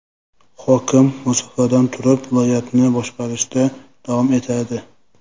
Hokim masofadan turib viloyatni boshqarishda davom etadi.